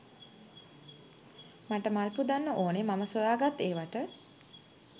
මට මල් පුදන්න ඕන මම සොයාගත් ඒවට.